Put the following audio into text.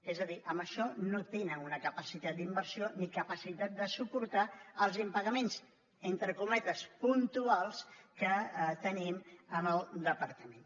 és a dir amb això no tenen una capacitat d’inversió ni capacitat de suportar els impa·gaments entre cometes puntuals que tenim en el departament